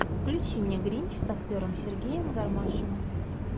включи мне гринч с актером сергеем гармашем